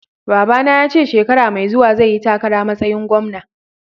Babba na ya ce shekara Mai zuwa zai yi takara masayin gwamna.